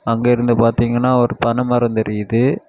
அங்க இருந்து பாத்தீங்கன்னா ஒரு பனைமரம் தெரியுது.